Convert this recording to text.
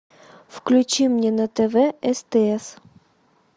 включи мне на тв стс